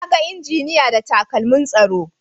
Na ga injiniya da takalmin tsaro.